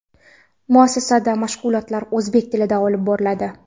Muassasada mashg‘ulotlar o‘zbek tilida olib boriladi.